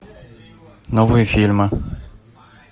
новые фильмы